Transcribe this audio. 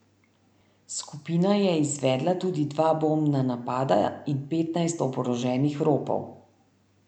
Skupina je izvedla tudi dva bombna napada in petnajst oboroženih ropov.